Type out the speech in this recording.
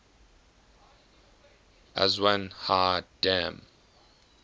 aswan high dam